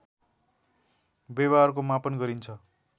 व्यवहारको मापन गरिन्छ